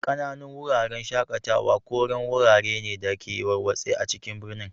Ƙananun Wuraren shaƙatawa koren wurare ne da ke warwatse a cikin birni.